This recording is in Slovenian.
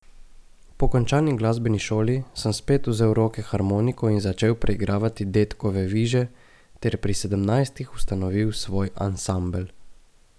Po končani glasbeni šoli sem spet vzel v roke harmoniko in začel preigravati dedkove viže ter pri sedemnajstih ustanovil svoj ansambel.